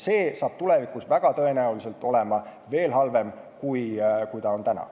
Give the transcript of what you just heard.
See on aga tulevikus väga tõenäoliselt veel halvem kui praegu.